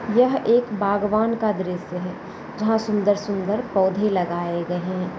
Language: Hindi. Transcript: यह एक बगवान का दृश्य है जहाँ सुंदर-सुंदर पौधे लगाए गए हैं।